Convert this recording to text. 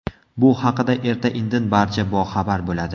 Bu haqida erta-indin barcha boxabar bo‘ladi.